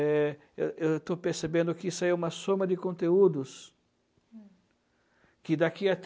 Eh, eu eu estou percebendo que isso aí é uma soma de conteúdos que daqui a tri